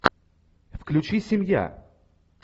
включи семья